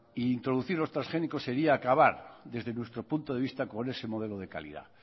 e introducir los transgénicos sería acabar desde nuestro punto de vista con ese modelo de calidad